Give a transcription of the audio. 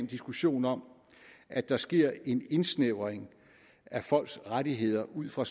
diskussion om at der sker en indsnævring af folks rettigheder ud fra